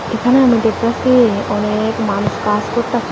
এখানে আমরা ডেকতাসি অনেক মানুষ কাস করতাসে।